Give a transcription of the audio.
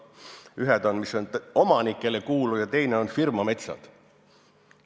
Ühed on, mis on omanikele kuuluvad, ja teised on firmametsad.